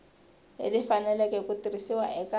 leti faneleke ku tirhisiwa eka